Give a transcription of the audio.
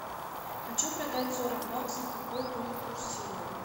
хочу продать сорок баксов какой будет курс сегодня